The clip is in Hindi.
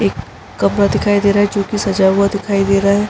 एक कपड़ा दिखाई दे रहा है जोकि सजा हुआ दिखाई दे रहा है ।